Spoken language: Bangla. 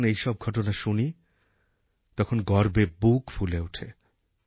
যখন এইসব ঘটনা শুনি তখন গর্বে বুক ফুলে ওঠে